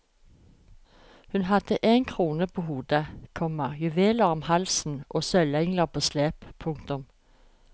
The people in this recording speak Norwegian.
Hun hadde en krone på hodet, komma juveler om halsen og sølvengler på slepet. punktum